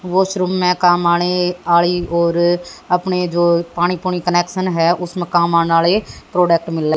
Washroom में काम आने और अपने जो पानी वाले कनेक्शन है। उसमें काम आने वाले प्रोडक्ट मिल रहे हैं।